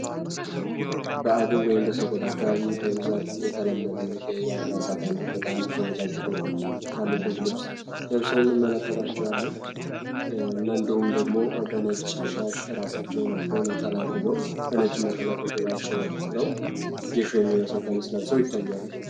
በአጋው ወይም በሰቆጣ አካባቢ በብዛት የተለመደ የአልባሳት አይነት ነጫጭ ቁልፎች ያሉበት ልብስ ለብሶ እንመለከታቸዋለን። እናንተውም በነጭሻሽ ራሳቸውን ጠምጥመው አስረው እንደዚሁ ወገን ታጥቀው የሚመስል ቀሚስ ለብሶ ይታያል።